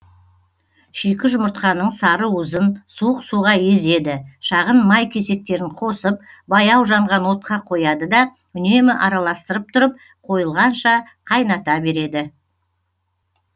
шикі жұмыртқаның сары уызын суық суға езеді шағын май кесектерін қосып баяу жанған отқа қояды да үнемі араластырып тұрып қойылғанша қайната береді